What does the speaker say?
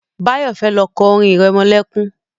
Báyọ̀ fẹ́ kọ́ orin irẹmọlẹ́kún